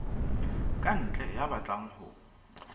ka ntle ya batlang ho